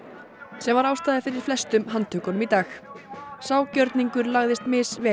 sem var ástæða fyrir flestum handtökunum í dag sá gjörningur lagðist misvel